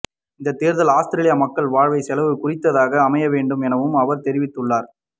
இந்த தேர்தல் அவுஸ்திரேலிய மக்கள் வாழ்க்கை செலவு குறித்ததாக அமையவேண்டும் எனவும் அவர் தெரிவித்துள்ளார்